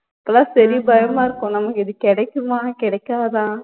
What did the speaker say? எல்லாம் சரி பயமா இருக்கும் நமக்கு இது கிடைக்குமா கிடைக்காதா